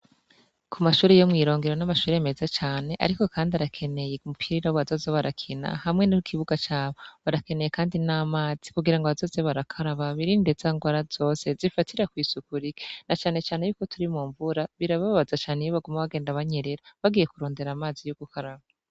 Ku mashure yo mwi Rongero n'amashure meza cane, ariko kandi arakeneye umupira bazoza barakina hamwe n'ikibuga cabo, barakeneye kandi n'amazi kugira bazoza barakaraba birinde za ngwara zose zifatira kwisuku rike, na cane cane ko turi mu mvura birababaza cane iyo bagenda banyerera barondera amazi yo gukaraba.